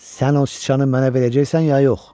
Sən o sıçanı mənə verəcəksən ya yox?